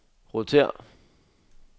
rotér